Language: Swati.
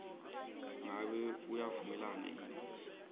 ngabe uyavumelana yini